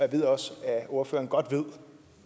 ved også at ordføreren godt ved